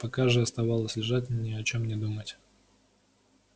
пока же оставалось лежать ни о чем не думать